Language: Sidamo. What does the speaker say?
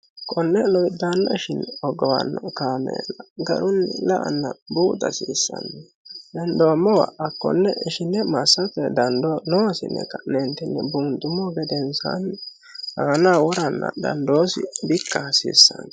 konne lowiddaanna ishinne hogowanno kaameella garunni la'anna buuxa hasiissanno hendoommowa hakkonne ishine massate dandoo noosi yinne ka'neentinni buunxummo gedensaanni aanaho woranna dhandoosi bikka hasiissanno